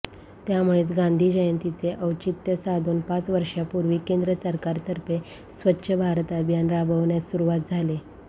त्यामुळेच गांधी जयंतीचे औचित्य साधून पाच वर्षापूर्वी केंद्र सरकारतर्फे स्वच्छ भारत अभियान राबवण्यास सुरुवात झाली